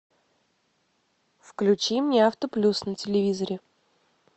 включи мне автоплюс на телевизоре